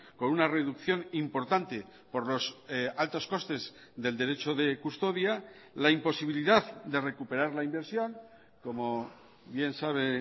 con una reducción importante por los altos costes del derecho de custodia la imposibilidad de recuperar la inversión como bien sabe